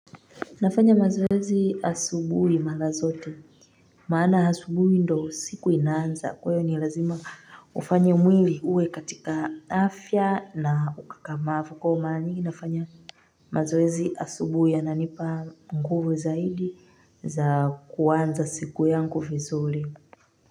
Nafanya mazoezi asubuhi mahala zote maana asubuhi ndo siku inanza kwayo ni lazima ufanye mwili uwe katika afya na ukakamavu kwa hivo mara nyingi nafanya mazoezi asubuhi ananipa mkuvu zaidi za kuwanza siku yangu fizuli.